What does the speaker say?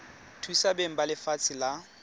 thusa beng ba lefatshe la